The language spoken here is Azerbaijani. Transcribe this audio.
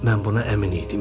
Mən buna əmin idim.